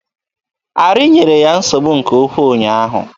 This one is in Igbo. Arị nyere ya nsogbu nke ukwu ụnyaahụ.